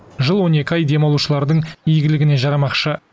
жыл он екі ай демалушылардың игіліне жарамақшы